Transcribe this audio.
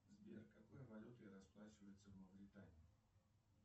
сбер какой валютой расплачиваются в мавритании